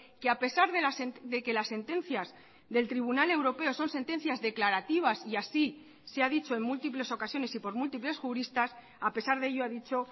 que a pesar de que las sentencias del tribunal europeo son sentencias declarativas y así se ha dicho en múltiples ocasiones y por múltiples juristas a pesar de ello ha dicho